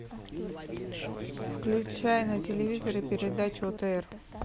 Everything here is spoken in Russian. включай на телевизоре передачу отр